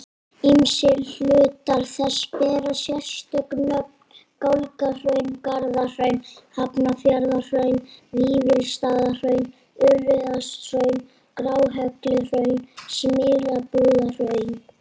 Ýmsir hlutar þess bera sérstök nöfn, Gálgahraun, Garðahraun, Hafnarfjarðarhraun, Vífilsstaðahraun, Urriðakotshraun, Gráhelluhraun, Smyrlabúðarhraun.